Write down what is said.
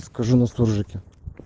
скажи на суржике